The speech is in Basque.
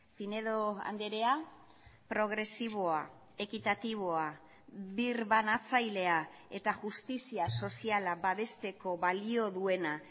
pinedo andrea progresiboa ekitatiboa birbanatzailea eta justizia soziala babesteko balio duena